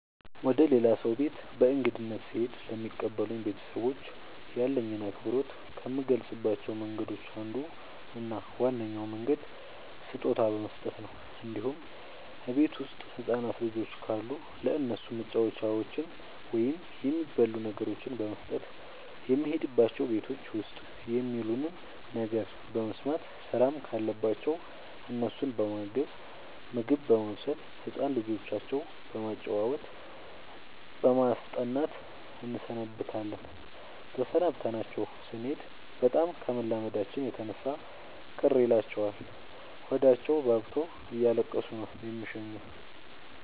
ወደ ሌላ ሰው ቤት በእንግድነት ስሄድ ለሚቀበሉኝ ቤተሰቦች ያለኝን አክብሮት ከምገልፅባቸው መንገዶች አንዱ እና ዋነኛው መንገድ ስጦታ በመስጠት ነው እንዲሁም እቤት ውስጥ ህፃናት ልጆች ካሉ ለእነሱ መጫወቻዎችን ወይም የሚበሉ ነገሮችን በመስጠት። የሄድንባቸው ቤቶች ውስጥ የሚሉንን ነገር በመስማት ስራም ካለባቸው እነሱን በማገዝ ምግብ በማብሰል ህፃን ልጆቻቸው በማጫወት በማስጠናት እንሰነብታለን ተሰናብተናቸው ስኔድ በጣም ከመላመዳችን የተነሳ ቅር ይላቸዋል ሆዳቸውባብቶ እያለቀሱ ነው የሚሸኙን።